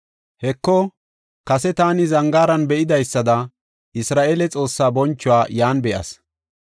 Heko, kase taani zangaaran be7idaysada, Isra7eele Xoossaa bonchuwa yan be7as.